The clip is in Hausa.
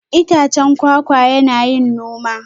Itacen kwakwa yana yin noma?